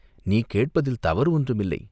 நீ கேட்பதில் தவறு ஒன்றும் இல்லை.